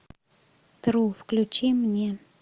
тру включи мне